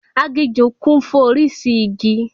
Aginjù kún fún orísìí igi